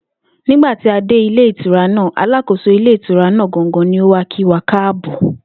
Nígbà tí a dé ìtura náà, alákóso ilé ìtura náà gangan ni ó wá kí wa káàbò̩